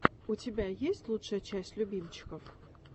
у тебя есть лучшая часть любимчиков